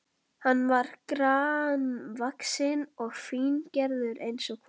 Hann var grannvaxinn og fíngerður eins og kona.